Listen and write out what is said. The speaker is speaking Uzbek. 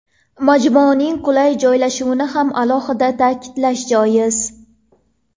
Majmuaning qulay joylashuvini ham alohida ta’kidlash joiz.